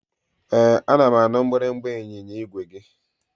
Ee, ana m anụ mgbịrịmgba ịnyịnya igwe gị